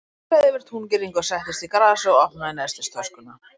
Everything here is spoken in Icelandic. Hann klifraði yfir túngirðingu og settist í grasið og opnaði nestistöskuna.